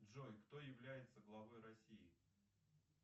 джой кто является главой россии